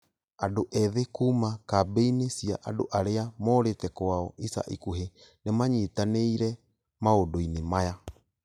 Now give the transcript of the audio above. Andũ ethĩ kuuma kambĩinĩcia andũ arĩa morite kwao ica ikũhĩ nĩmanyitanĩre maũndũinĩ maya